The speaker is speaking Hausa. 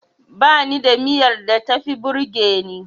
Bani da miyar da tafi burgeni.